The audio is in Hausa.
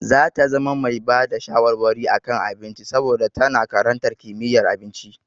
Za ta zama mai bada shawarwari a kan abinci saboda tana karantar kimiyyar abinci.